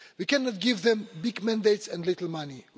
We cannot give them big mandates and little money.